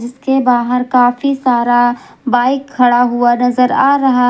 इसके बाहर काफी सारा बाइक खड़ा हुआ नजर आ रहा--